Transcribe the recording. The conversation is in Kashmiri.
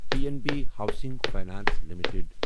P N B housing finance limited